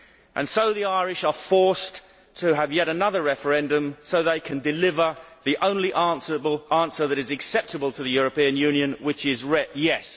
And so the Irish are forced to have yet another referendum so they can deliver the only answer that is acceptable to the European Union which is yes'.